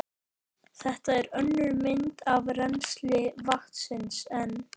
Þetta er önnur mynd af rennsli vatnsins en